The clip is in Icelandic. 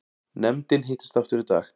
Nefndin hittist aftur í dag